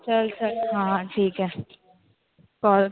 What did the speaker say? चल चल. हा ठीकेय. call